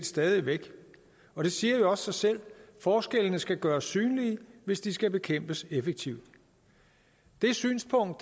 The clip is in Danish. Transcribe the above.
stadig væk og det siger jo også sig selv at forskellene skal gøres synlige hvis de skal bekæmpes effektivt det synspunkt